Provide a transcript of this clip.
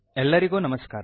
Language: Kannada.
ಎಲ್ಲರಿಗೂ ನಮಸ್ಕಾರ